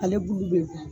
Ale bulu bɛ bɔ